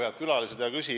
Head külalised!